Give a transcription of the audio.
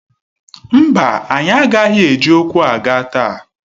Mba, anyị agaghị eji ụkwụ aga taa.